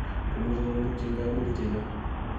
komuchi komutyin kaimutik che chang'